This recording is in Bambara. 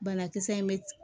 Banakisɛ in bɛ